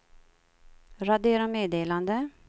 radera meddelande